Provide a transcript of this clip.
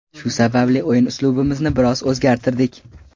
Shu sababli o‘yin uslubimizni biroz o‘zgartirdik.